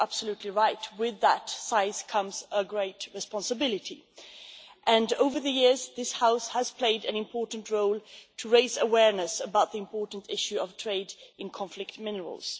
So you are absolutely right with that size comes a great responsibility and over the years this House has played an important role to raise awareness about the important issue of trade in conflict minerals.